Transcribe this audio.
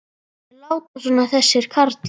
Þeir láta svona þessir karlar.